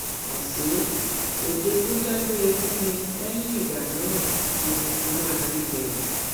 àṣé ọdẹ tó dágbére fún mi lẹyìn ìgbà náà ni mo fi máa rí i gbẹyìn